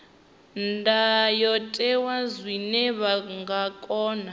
ndayotewa zwine vha nga kona